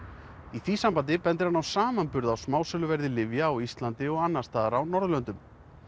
í því sambandi bendir hann á samanburð á smásöluverði lyfja á Íslandi og annars staðar á Norðurlöndum